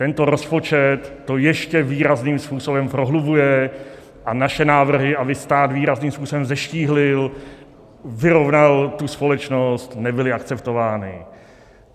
Tento rozpočet to ještě výrazným způsobem prohlubuje a naše návrhy, aby stát výrazným způsobem zeštíhlil, vyrovnal tu společnost, nebyly akceptovány.